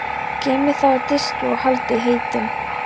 Geymið þau á diski og haldið heitum.